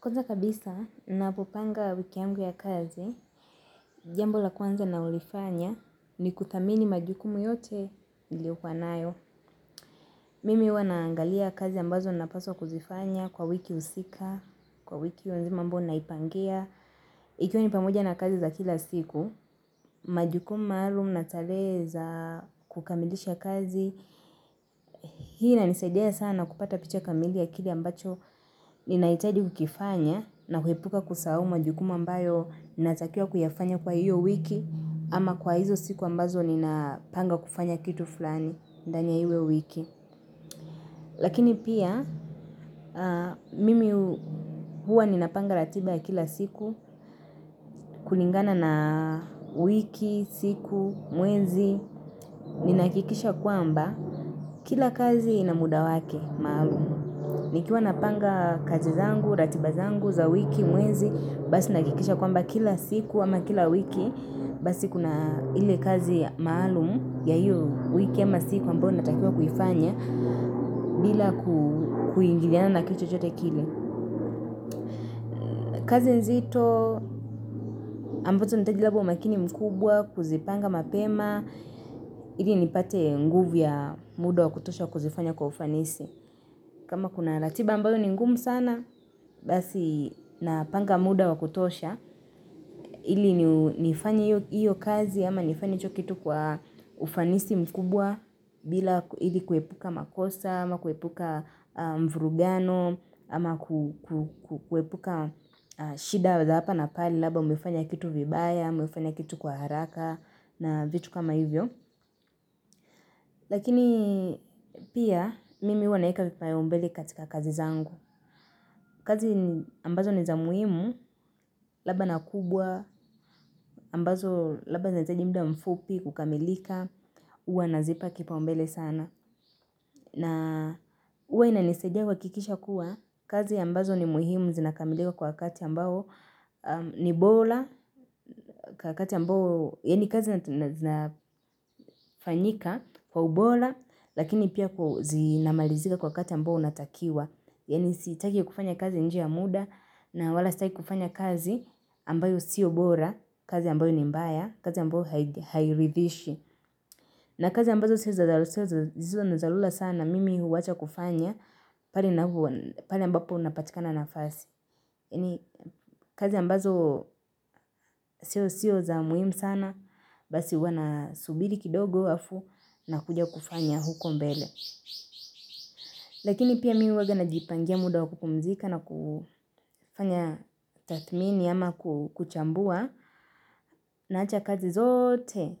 Kwanza kabisa, napopanga wiki yangu ya kazi, jambo la kwanza na hulifanya ni kuthamini majukumu yote niliokua nayo. Mimi huwa naangalia kazi ambazo napaswa kuzifanya kwa wiki husika, kwa wiki hio nzima ambayo naipangia. Ikiwa ni pamoja na kazi za kila siku, majukumu maalumu na tarehe za kukamilisha kazi. Hii inanisaidia sana kupata picha kamili ya kile ambacho ninahitaji kukifanya na kuepuka kusahau majukuma mbayo ninatakiwa kuyafanya kwa hiyo wiki ama kwa hizo siku ambazo ninapanga kufanya kitu fulani ndani ya hiyo wiki lakini pia mimi huwa ninapanga ratiba ya kila siku kulingana na wiki, siku, mwenzi ninahakikisha kwamba kila kazi ina muda wake maalum nikiwa napanga kazi zangu, ratiba zangu, za wiki, mwezi, basi nahakikisha kwamba kila siku ama kila wiki basi kuna ile kazi maalum ya hiyo wiki ama siku ambayo natakiwa kuifanya bila kuingiliana na kitu chochote kile. Kazi nzito, ambacho nihitaji labda umakini mkubwa, kuzipanga mapema, ili nipate nguvu ya muda wa kutosha wa kuzifanya kwa ufanisi. Kama kuna ratiba ambayo ni ngumu sana, basi napanga muda wa kutosha. Ili nifanye iyo kazi ama nifanye hicho kitu kwa ufanisi mkubwa bila ili kuepuka makosa ama kuepuka mvrugano ama kuepuka shida wa za hapa na pale labda umefanya kitu vibaya, ama umefanya kitu kwa haraka na vitu kama hivyo. Lakini pia mimi huwa naweka vipaumbele katika kazi zangu kazi ambazo ni za muhimu, labda na kubwa, labda zinahitaji muda mfupi kukamilika huwa nazipa kipaumbele sana na huwa inanisaidia kuhakikisha kuwa kazi ambazo ni muhimu zinakamilika kwa wakati ambao ni bora Kwa wakati ambao, yaani kazi na zinafanyika kwa ubora lakini pia kuwa zinamalizika kwa wakati ambao unatakiwa yaani sitaki kufanya kazi nje ya muda na wala sitaki kufanya kazi ambayo sio bora kazi ambayo ni mbaya kazi ambayo hairidhishi na kazi ambazo sio za dharura sana mimi huwacha kufanya pale ambapo unapatika na nafasi kazi ambazo sio sio za muhimu sana basi huwa nasubiri kidogo alafu nakuja kufanya huko mbele Lakini pia mimi huwanga najipangia muda wa kupumzika na kufanya tathmini ama kuchambua Naacha kazi zote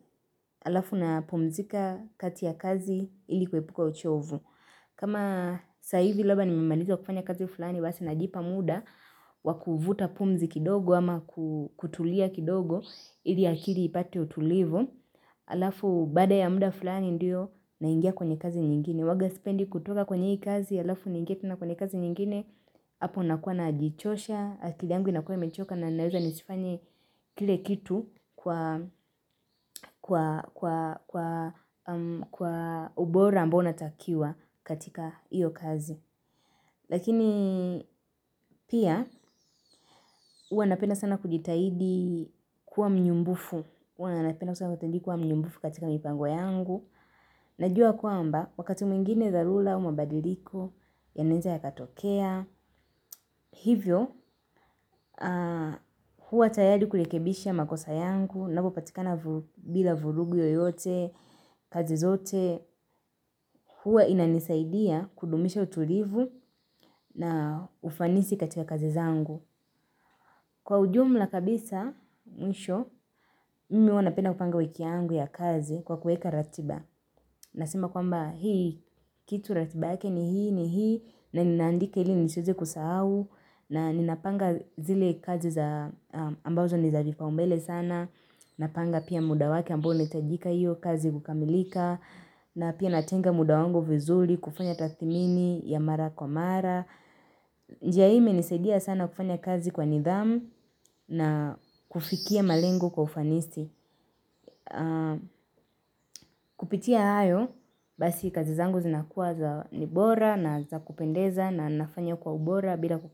alafu napumzika kati ya kazi ili kuepuka uchovu kama sasa hivi labda nimemaliza kufanya kazi fulani basi najipa muda wa kuvuta pumzi kidogo ama kutulia kidogo ili akili ipate utulivu Alafu baada ya muda fulani ndio naingia kwenye kazi nyingine huwaga sipendi kutoka kwenye hii kazi alafu niingie tena kwenye kazi nyingine hapo nakuwa najichosha, akili yangu inakuwa imechoka na naweza nisifanye kile kitu kwa ubora ambao unatakiwa katika hiyo kazi. Lakini pia, hua napenda sana kujitahidi kuwa mnyumbufu. Hua napenda sana kutendi kuwa mnyumbufu katika mipango yangu. Najua kwamba, wakati mwingine dharura au mabadiliko, yanaweza yakatokea. Hivyo, hua tayari kurekebisha makosa yangu, napo patikana bila vurugu yoyote, kazi zote, hua inanisaidia kudumisha utulivu na ufanisi katika kazi zangu. Kwa ujumla kabisa, mwisho, mimi huwa napenda kupanga wiki yangu ya kazi kwa kuweka ratiba. Nasema kwamba hii, kitu ratiba yake ni hii, ni hii, na ninaandika ili nisiweze kusahau, na ninapanga zile kazi ambazo ni za vipaumbele sana. Napanga pia muda wake ambao unahitajika hiyo kazi kukamilika, na pia natenga muda wangu vizuri kufanya tathmini ya mara kwa mara. Njia hii imenisadia sana kufanya kazi kwa nidhamu na kufikia malengo kwa ufanisi Kupitia hayo, basi kazi zangu zinakuwa za ni bora na za kupendeza na nafanya kwa ubora bila kukosa.